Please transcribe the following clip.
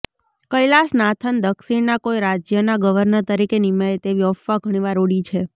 કૈલાશનાથન દક્ષિણના કોઈ રાજ્યના ગવર્નર તરીકે નીમાય તેવી અફવા ઘણી વાર ઊડી છે